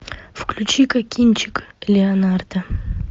включи ка кинчик леонардо